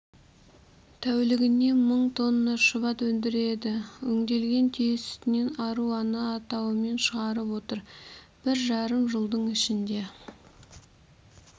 тәулігіне мың тонна шұбат өндіреді өңделген түйе сүтінен аруана атауымен шығарып отыр бір жарым жылдың ішінде